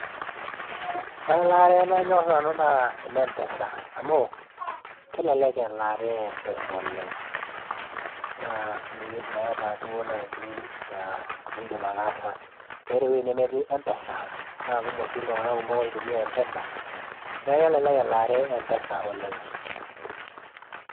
Ore elaare nanyor nanu naa ene M-Pesa amu kelelek elaare e M-Pesa oleng', naa meeta duo naji enindim ataasa. Meeta ewuei nemetii M-Pesa, naa kumok sii iltung'anak oitumia M-Pesa, niaku kelelek elaare e M-Pesa oleng'.